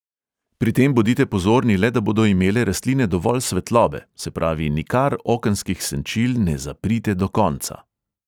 Pri tem bodite pozorni le, da bodo imele rastline dovolj svetlobe, se pravi nikar okenskih senčil ne zaprite do konca.